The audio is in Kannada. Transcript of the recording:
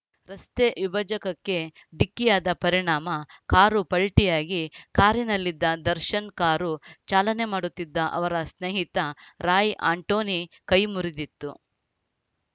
ರಸ್ತೆ ವಿಭಜಕಕ್ಕೆ ಡಿಕ್ಕಿಯಾದ ಪರಿಣಾಮ ಕಾರು ಪಲ್ಟಿಯಾಗಿ ಕಾರಿನಲ್ಲಿದ್ದ ದರ್ಶನ್‌ ಕಾರು ಚಾಲನೆ ಮಾಡುತ್ತಿದ್ದ ಅವರ ಸ್ನೇಹಿತ ರಾಯ್‌ ಆಂಟೋನಿ ಕೈ ಮುರಿದಿತ್ತು